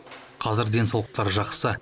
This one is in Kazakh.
қазір денсаулықтары жақсы